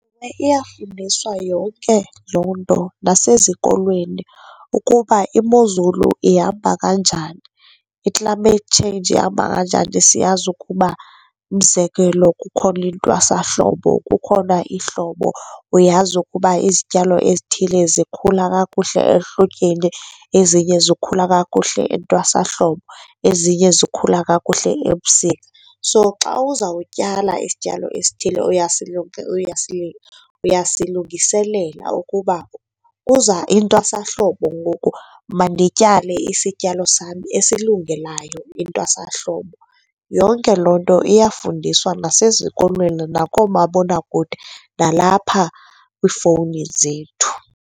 Iyafundiswa yonke loo nto nasezikolweni ukuba imozulu ihamba kanjani, i-climate change ihamba kanjani. Siyazi ukuba, umzekelo, kukhona intwasahlobo, kukhona ihlobo. Uyazi ukuba izityalo ezithile zikhula kakuhle ehlotyeni, ezinye zikhula kakuhle entwasahlobo, ezinye zikhula kakuhle ebusika. So, xa uzawutyala isityalo esithile uyasilungiselela ukuba kuza intwasahlobo ngoku mandityale isityalo sam esilungelayo intwasahlobo. Yonke loo nto iyafundiswa nasezikolweni, nakoomabonakude nalapha kwiifowuni zethu.